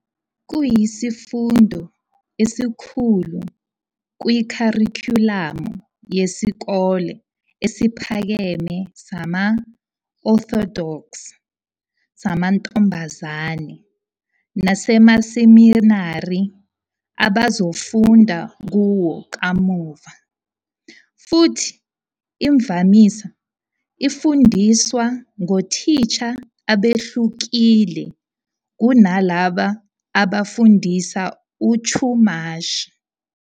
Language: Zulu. Kuyisifundo esikhulu kwikharikhulamu yezikole eziphakeme zama-Orthodox zamantombazane nasemaseminari abazofunda kuwo kamuva, futhi imvamisa ifundiswa ngothisha abehlukile kunalabo abafundisa uChumash.